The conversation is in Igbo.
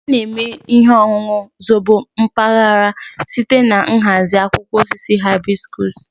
A na-eme ihe ọṅụṅụ zobo mpaghara site na nhazi akwụkwọ osisi hibiscus